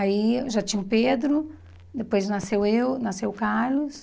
Aí já tinha o Pedro, depois nasceu eu, nasceu o Carlos.